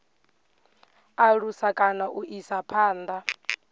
alusa kana u isa phanda